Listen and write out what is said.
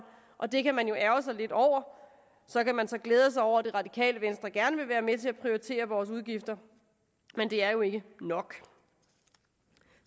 og det kan man ærgre sig lidt over så kan man så glæde sig over at det radikale venstre gerne vil være med til at prioritere vores udgifter men det er jo ikke nok